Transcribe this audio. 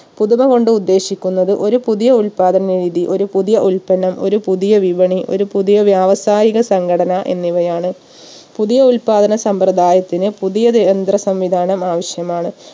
പുതുമ കൊണ്ട് ഉദ്ദേശിക്കുന്നത് ഒരു പുതിയ ഉത്പാദന രീതി ഒരു പുതിയ ഉത്പന്നം ഒരു പുതിയ വിപണി ഒരു പുതിയ വ്യാവസായിക സംഘടന എന്നിവയാണ്. പുതിയ ഉത്പാദന സമ്പ്രദായത്തിന് പുതിയത് യന്ത്ര സംവിധാനം ആവശ്യമാണ്